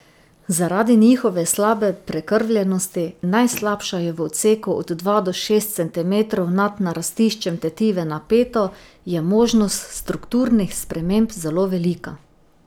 Zaradi njihove slabe prekrvljenosti, najslabša je v odseku od dva do šest centimetrov nad narastiščem tetive na peto, je možnost strukturnih sprememb zelo velika.